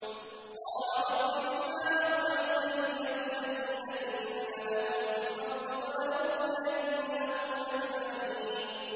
قَالَ رَبِّ بِمَا أَغْوَيْتَنِي لَأُزَيِّنَنَّ لَهُمْ فِي الْأَرْضِ وَلَأُغْوِيَنَّهُمْ أَجْمَعِينَ